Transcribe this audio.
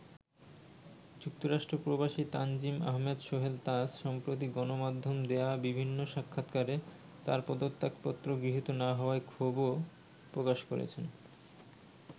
যুক্তরাষ্ট্র প্রবাসী তানজিম আহমেদ সোহেল তাজ সম্প্রতি গণমাধ্যমে দেয়া বিভিন্ন সাক্ষাতকারে তাঁর পদত্যাগপত্র গৃহীত না হওয়ায় ক্ষোভও প্রকাশ করেছেন।